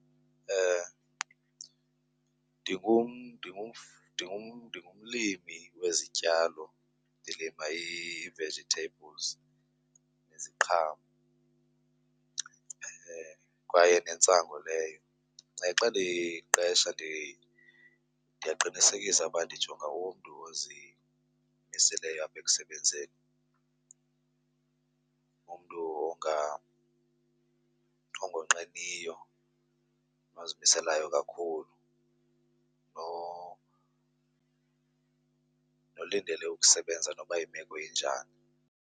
Ndingumlimi wezityalo, ndilima ii-vegetables neziqhamo kwaye nentsangu leyo. Xa ndiqesha ndiyaqinisekisa uba ndijonga umntu ozimiseleyo apha ekusebenzini, umntu ongonqeniyo ozimiselayo kakhulu, nolindele ukusebenza noba yimeko injani.